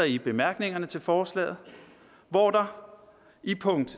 i bemærkningerne til forslaget hvor der i punkt